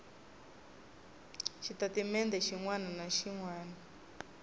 xitatimende xin wana na xin